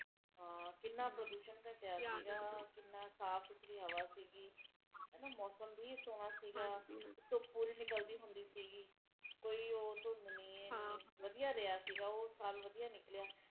ਘਰ ਘਟ ਹੈ ਦਿੱਲੀ ਚ ਘਰ ਘਟ ਹੈ ਫੈਕਟਰੀਆਂ ਜ਼ਿਆਦਾ ਬਣ ਗਈਆ ਲੋਕ ਘਟ ਹੈ ਤੇ ਜਿਹੜੇ ਪਹਿਲਾ ਘਰ ਹੁੰਦੇ ਸੀ ਉਹ ਬਿਲਡਿੰਗਾਂ ਆ ਦੀਆ ਬਿਲਡਿੰਗਾਂ ਬਣਿਆ ਜਾਂਦੀਆਂ ਬੰਬੇ ਸ਼ਹਿਰ ਚ ਹੇਗੀਆਂ ਬਿਲਡਿੰਗਾਂ